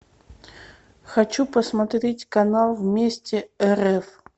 хочу посмотреть канал вместе рф